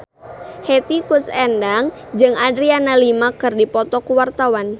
Hetty Koes Endang jeung Adriana Lima keur dipoto ku wartawan